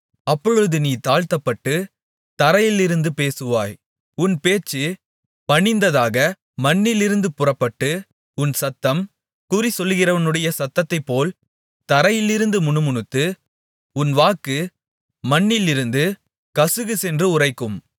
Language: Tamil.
அப்பொழுது நீ தாழ்த்தப்பட்டுத் தரையிலிருந்து பேசுவாய் உன் பேச்சுப் பணிந்ததாக மண்ணிலிருந்து புறப்பட்டு உன் சத்தம் குறிசொல்கிறவனுடைய சத்தத்தைப்போல் தரையிலிருந்து முணுமுணுத்து உன் வாக்கு மண்ணிலிருந்து கசுகுசென்று உரைக்கும்